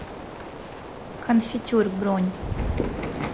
конфитюр бронь